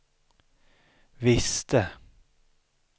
visste